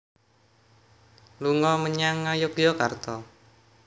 Lunga menyang Ngayogyakarta